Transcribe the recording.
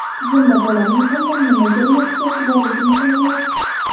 Bunda bolaning aynan nimaga reaksiyasi borligi muhim emas.